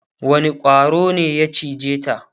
wani ƙwaro ne ya cije ta?